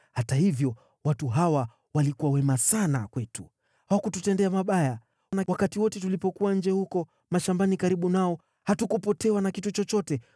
Hata hivyo watu hawa walikuwa wema sana kwetu. Hawakututendea mabaya, na wakati wote tulipokuwa nje huko mashambani karibu nao, hatukupotewa na kitu chochote.